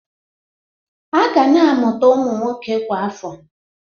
A ga na-amụta ụmụ nwoke kwa afọ.